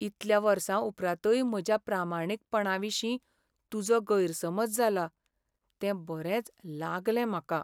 इतल्या वर्सां उपरांतय म्हज्या प्रामाणीकपणाविशीं तुजो गैरसमज जाला, तें बरेंच लागलें म्हाका.